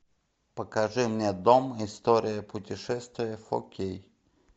покажи мне дом история путешествия фо кей